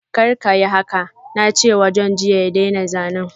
Kar kayi haka! na ce wa John jiya ya daina zanen.